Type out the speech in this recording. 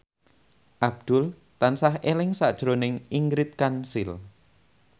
Abdul tansah eling sakjroning Ingrid Kansil